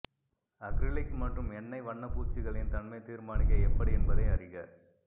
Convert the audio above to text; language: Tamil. அக்ரிலிக் மற்றும் எண்ணெய் வண்ணப்பூச்சுகளின் தன்மை தீர்மானிக்க எப்படி என்பதை அறிக